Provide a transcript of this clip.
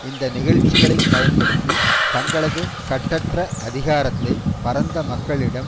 இந்த நிகழ்ச்சிகளைப் பயன்படுத்தி தங்களது கட்டற்ற அதிகாரத்தை பரந்த மக்களிடம்